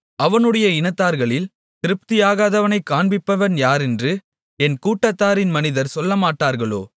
அவனுடைய இனத்தார்களில் திருப்தியாகாதவனைக் காண்பிப்பவன் யாரென்று என் கூடாரத்தின் மனிதர் சொல்லமாட்டார்களோ